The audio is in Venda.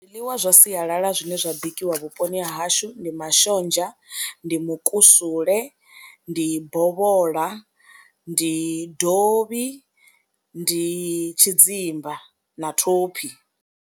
Zwiḽiwa zwa sialala zwine zwa bikiwa vhuponi ha hashu ndi mashonzha, ndi mukusule, ndi bovhola, ndi dovhi, ndi tshidzimba na thophi.